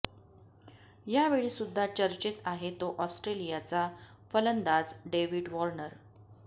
ह्यावेळी सुद्धा चर्चेत आहे तो ऑस्ट्रेलियाचा फलंदाज डेव्हिड वॉर्नर